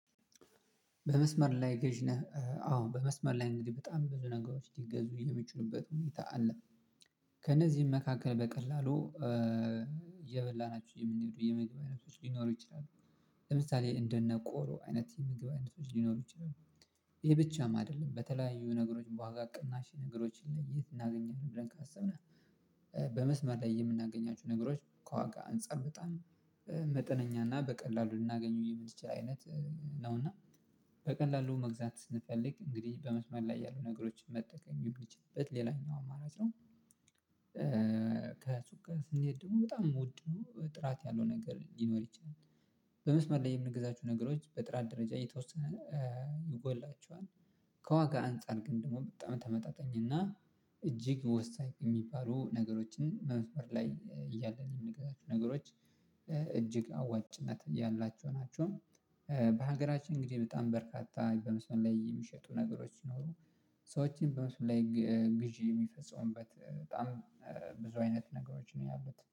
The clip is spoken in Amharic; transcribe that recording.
በመስመር ላይ ገዢ ነህ? አዎ በመስመር ላይ እንግዲህ በጣም ብዙ ነገሮች እንዲገዙ እየተመቹ የሆነበት ሁኔታ አለ። ከነዚህም መካከል በቀላሉ እየበላናቸው የምንሄዱ የምግብ አይነቶች ሊኖሩ ይችላሉ። ለምሳሌ እንደነ ቆሎ አይነት የምግብ አይነት ልኖር ይችላል። ይሄ ብቻም አይደለም በተለያዩ ነገሮች በዋጋ ቅናሽ ነገሮችን ላይ እናገኛለን ብለን ካሰብነው። በመስመር ላይ የምናገኛችሁ ነገሮች ከዋጋ አንፃር በጣም መጠነኛ እና በቀላሉ ልናገኙ የምንችል አይነት ነው። እና በቀላሉ መግዛት ስንፈልግ እንግዲህ በመስመር ላይ ያሉ ነገሮችን መጠቀም የሚችልበት ሌላኛው አማራጭ ነው። ከሱቅ ጋር ስንሄድ ደግሞ በጣም የምወድ ሆኖ ጥራት ያለው ነገር ሊኖር ይችላል። በመስመር ላይ የምንገዛቸው ነገሮች በጥራት ደረጃ የተወሰነ ይጎላቸዋል። ከዋጋ አንፃር ግን ደግሞ በጣም ተመጣጣኝና እጅግ ወሳኝ የሚባሉ ነገሮችን በመስመር ላይ እያለን የምንገዛቸው ነገሮች እጅግ አዋጭነት ያላቸው ናቸው። በሀገራችን እንግዲህ በጣም በርካታ በምስራችን ላይ የሚሸጡ ነገሮች ይኖሩ ሰዎችን በመስመር ላይ ግዢ የሚፈጸሙበት በጣም ብዙ አይነት ነገሮች ነው ያሉት